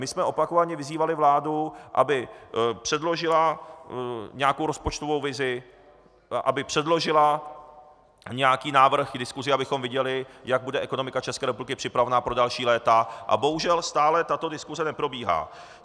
My jsme opakovaně vyzývali vládu, aby předložila nějakou rozpočtovou vizi, aby předložila nějaký návrh k diskusi, abychom viděli, jak bude ekonomika České republiky připravena pro další léta, a bohužel stále tato diskuse neprobíhá.